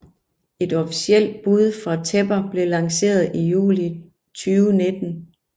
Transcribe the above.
Et officelt bud fra Tepper blev lanceret i juli 2019